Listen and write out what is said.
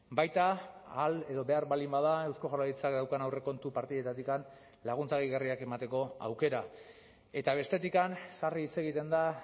baita ahal edo behar baldin bada eusko jaurlaritzak daukan aurrekontu partidetatik laguntza gehigarriak emateko aukera eta bestetik sarri hitz egiten da